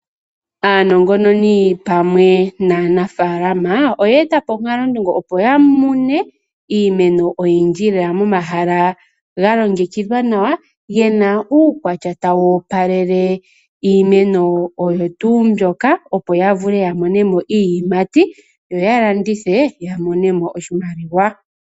Aanongononi pamwe naanafaalama oye eta po omalunduluko opo ya mune iimeno oyindji lela momahala ga longekidhwa nawa ge na uukwatya tawu opalele iimeno oyo tuu mbyoka opo ya vule ya mone mo iiyimati yo ya landithe ya mone mo oshimaliwa.